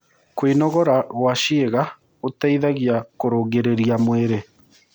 Kũnogora gwa ciĩga gũteĩthagĩa kũrũngĩrĩrĩa mwĩrĩ